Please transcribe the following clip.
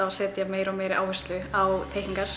að setja meiri og meiri áherslu á teikningar